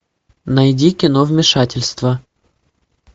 найди кино вмешательство